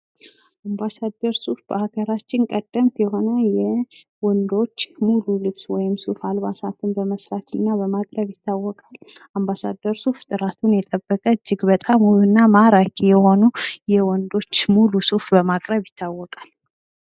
አምባሳደር ሱፍ በሀገራችን ቀደምት የሆነ ወንዶች ሙሉ ልብስ ወይም ሱፍ አልባሳትን በመስራትና በማቅረብ ይታወቃል። አምባሳደር ሱፍ ጥራቱን የጠበቀ እጅግ በጣም ውብ እና ማራኪ የሆኑ የወንዶች ሙሉ ሱፍ በማቅረብ ይታወቃል።